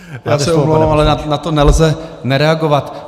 Já se omlouvám, ale na to nelze nereagovat.